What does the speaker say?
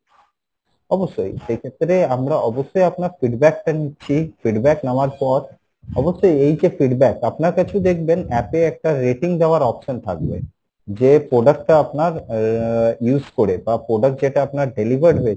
অবশ্যই সেই ক্ষেত্রে আমরা অবশ্যই আপনার feedback টা নিচ্ছি feedback নেওয়ার পর, অবশ্যই এই যে feedback আপনার কাছেও দেখবেন app এ একটা rating দেওয়ার option থাকবে, যে product টা আপনার আহ use করে বা product যেটা আপনার delivered হয়েছে